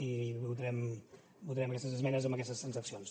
i votarem aquestes esmenes amb aquestes transaccions